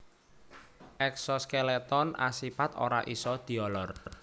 Eksoskeleton asipat ora isa diolor